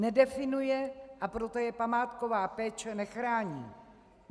Nedefinuje, a proto je památková péče nechrání.